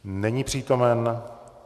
Není přítomen.